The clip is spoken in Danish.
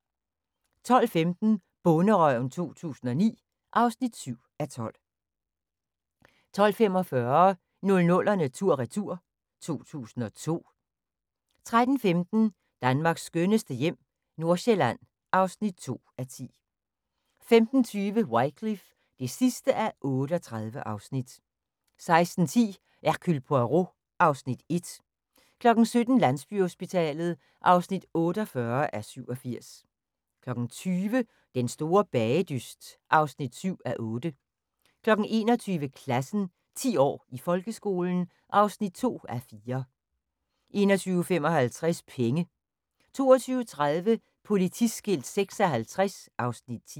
12:15: Bonderøven 2009 (7:12) 12:45: 00'erne tur/retur: 2002 13:15: Danmarks skønneste hjem - Nordsjælland (2:10) 15:20: Wycliffe (38:38) 16:10: Hercule Poirot (Afs. 1) 17:00: Landsbyhospitalet (48:87) 20:00: Den store bagedyst (7:8) 21:00: Klassen – 10 år i folkeskolen (2:4) 21:55: Penge 22:30: Politiskilt 56 (Afs. 10)